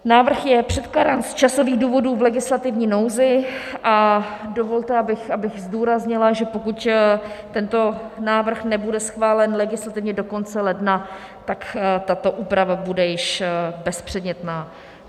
Návrh je předkládán z časových důvodů v legislativní nouzi a dovolte, abych zdůraznila, že pokud tento návrh nebude schválen legislativně do konce ledna, tak tato úprava bude již bezpředmětná.